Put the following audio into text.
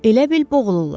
Elə bil boğulurlar.